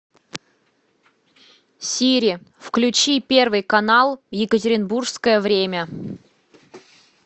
сири включи первый канал екатеринбургское время